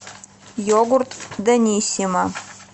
йогурт даниссимо